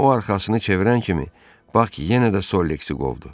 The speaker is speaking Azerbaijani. Amma o arxasını çevirən kimi Bak yenə də Sollexi qovdu.